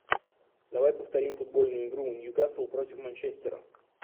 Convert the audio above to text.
давай повторим футбольную игру ньюкасл против манчестера